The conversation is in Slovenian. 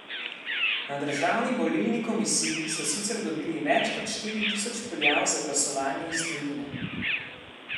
Na Državni volilni komisiji so sicer dobili več kot štiri tisoč prijav za glasovanje iz tujine.